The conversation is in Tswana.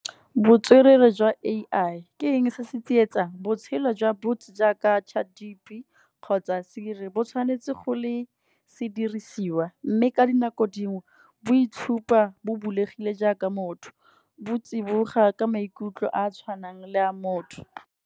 Botswerere jwa A_I ke eng se se tsietsang, botshelo jwa bots jaaka chat G_B be kgotsa Siri bo tshwanetse go le sedirisiwa. Mme ka dinako dingwe bo itshupa bo bulegile jaaka motho, bo tsiboga ka maikutlo a a tshwanang le a motho.